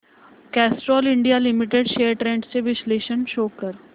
Castrol India limited shares trends चे विश्लेषण show कर